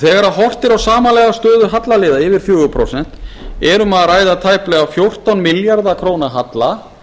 þegar horft er á samanlagða stöðu hallaliða yfir fjögur prósent er um að ræða tæplega fjórtán milljarða króna halla